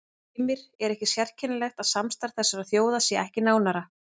Heimir: Er ekki sérkennilegt að samstarf þessara þjóða sé ekki nánara?